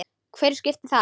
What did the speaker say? Hverju skiptir það?